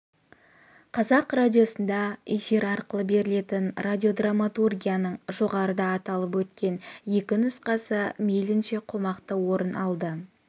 қазақ радиосында эфир арқылы берілетін радиодраматургияның жоғарыда аталып өткен екі нұсқасы мейлінше қомақты орын алды